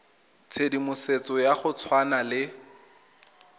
tshedimosetso ya go tshwana le